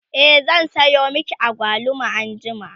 e zan Sayo maki agwaluma anjima